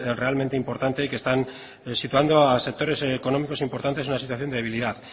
realmente importante que están situando a sectores económicos importantes en una situación debilidad